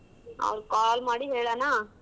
ಅವ್ರ್ call ಮಾಡಿ ಹೇಳನಾ.